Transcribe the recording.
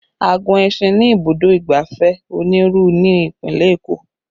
A gun ẹṣin ní ibùdó ìgbafẹ́ Oniru ní Ìpínlẹ̀ Eko